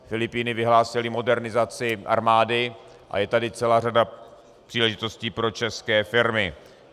Filipíny vyhlásily modernizaci armády a je tady celá řada příležitostí pro české firmy.